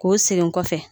K'o segin kɔfɛ